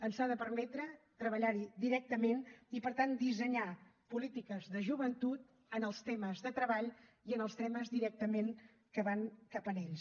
ens ha de permetre treballar hi directament i per tant dissenyar polítiques de joventut en els temes de treball i en els temes directament que van cap a ells